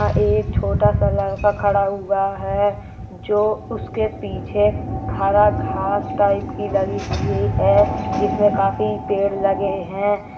एक छोटा सा लड़का खड़ा हुआ है जो उसके पीछे हरा घास टाइप की लगी हुई है जिसमें काफी पेड़ लगे हैं।